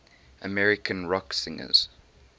american rock singers